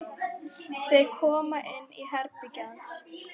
Þau koma inn í herbergið hans.